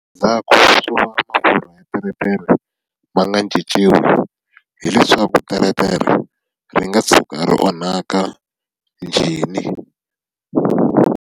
Ndza teretere ma nga cinciwi, hileswaku teretere ri nga tshuka ri onhaka injhini.